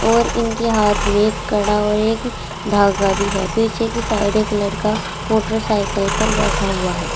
और इनके हाथ में कड़ा और एक धागा भी है पीछे की साइड एक लड़का मोटरसाइकिल पर बैठा हुआ है।